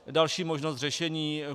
Další možnost řešení.